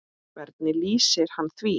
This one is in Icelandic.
Hvernig lýsir hann því?